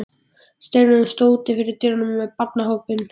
Steinunn stóð úti fyrir dyrum með barnahópinn.